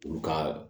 Olu ka